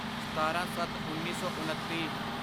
ਸਤਾਰਾਂਸੱਤਉੱਨੀ ਸੌ ਉਨੱਤੀ